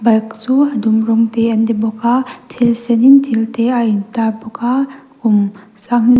bike chu a dum rawng te an ni bawk a thil sen in thil te a in tar bawk a kum sanghni --